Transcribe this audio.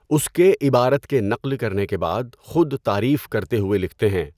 اس کے عبارت کے نقل کرنے کے بعد خود تعریف کرتے ہوئے لکھتے ہیں۔